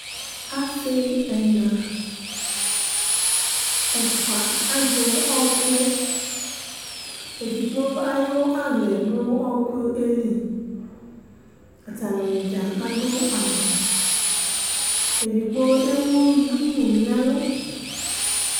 Asi ɛna, ɛfua, azɛ ɔku, edigbo ayu aɣla yɛ du ɔkuyɛ lɩ, atanɩdza adu awu, edigbo ewu duku nu ɛlʊ